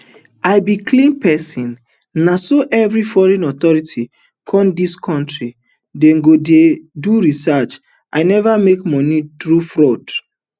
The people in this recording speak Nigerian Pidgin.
i be clean pesin na so every foreign authorities come dis kontri dey do dia research i neva make my moni thru fraud